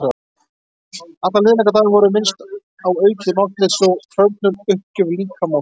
Allan liðlangan daginn vorum við minnt á aukið máttleysi og hrörnun- uppgjöf líkama og sálar.